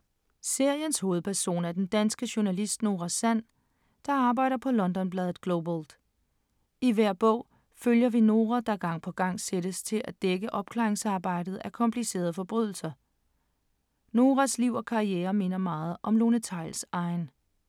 Seriens hovedperson er den danske journalist Nora Sand, der arbejder på London-bladet Globalt. I hver bog følger vi Nora, der gang på gang sættes til at dække opklaringsarbejdet af komplicerede forbrydelser. Noras liv og karriere minder meget om Lone Theils’ egen.